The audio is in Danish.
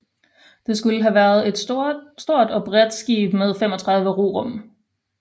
Det skulle have været et stort og bredt skib med 35 rorum